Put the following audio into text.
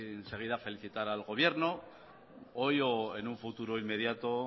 enseguida felicitar al gobierno hoy o en futuro inmediato